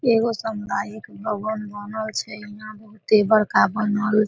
एगो समुदायिक भवन बनल छै यहाँ बहुते बड़का बनल --